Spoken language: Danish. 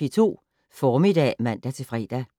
P2 Formiddag *(man-fre)